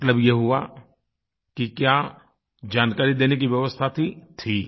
मतलब ये हुआ कि क्या जानकारी देने की व्यवस्था थी थी